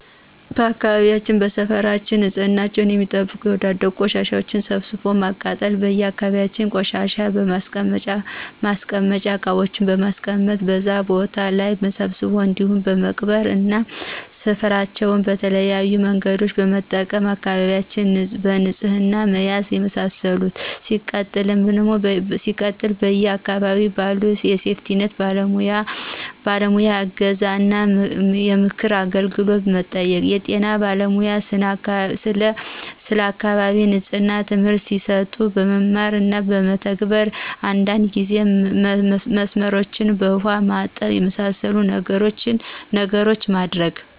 በአካባቢውና በሰፈራችን ንፅህናቸውን የሚጠብቁ የወዳደቁ ቆሻሻዎችን ሰብስቦ በማቃጠል: በየ አካባቢዎች የቆሻሻ ማስቀመጫ እቃዎችን በማስቀመጥ በዛ ቦታ ላይ መሰብሰብ እንዲሁም በመቅበር እና ሰፍራችን በተለያዬ መንገዶችን በመጠቀም አካባቢዎችን በንፅህና መያዝ የመሳሰሉትን። ሲቀጥል በየ አካባቢው ባሉ የሴፍቲኒት ባለሙያዎይ እገዛ እና የምክር አገልግሎት መጠየቅ። የጤና ባለሙያ ስለ አካባቢ ንፅህና ትምህርት ሲሰጡ መማር እና መተግበር። አንዳንድ ጊዜ መስመሮችን በውሃ ማጠብ። የመሳሰሉትን ነገሮች ማድረግ